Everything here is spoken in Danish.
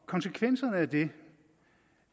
konsekvenserne af det